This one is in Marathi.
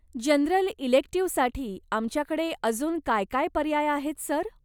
जनरल इलेक्टिव्हसाठी आमच्याकडे अजून काय काय पर्याय आहेत, सर?